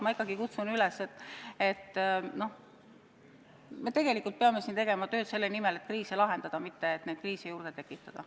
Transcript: Ma ikkagi kutsun üles, et me tegelikult peame siin tegema tööd selle nimel, et kriise lahendada, mitte et kriise juurde tekitada.